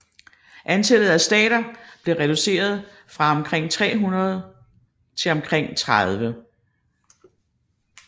Antallet af stater blev reduceret fra omkring 300 til omkring 30